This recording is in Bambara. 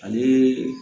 Ani